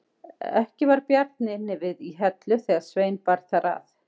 Ekki var Bjarni inni við í Hellu þegar Svein bar þar að.